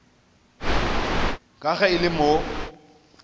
ka ge e le mo